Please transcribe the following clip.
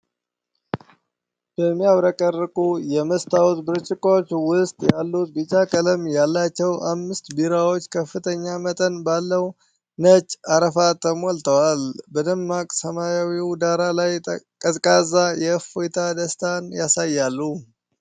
በሚያብረቀርቁ የመስታወት ብርጭቆዎች ውስጥ ያሉት ቢጫ ቀለም ያላቸው አምስት ቢራዎች ከፍተኛ መጠን ባለው ነጭ አረፋ ተሞልተው፣ በደማቅ ሰማያዊ ዳራ ላይ ቀዝቃዛ የእፎይታ ደስታን ያሳያሉ።